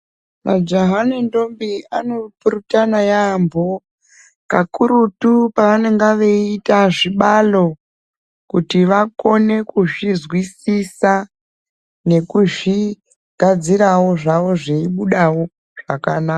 Majaha ne ndombi ano purutana yambo kakurutu pavanenge veyi ita zvibalo kuti vakone kuzvi zwisisa nekuzvi gadzirawo zvawo zvei budawo zvakanaka.